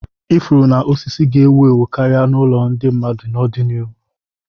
Ifuru na osisi ga-ewu ewu karịa n'ụlọ ndị mmadụ n'ọdịnihu.